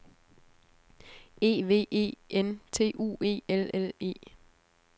E V E N T U E L L E